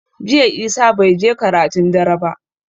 Jiya Isah bai je karatun dare ba